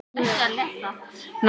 Andri Ólafsson: Af hverju ekki?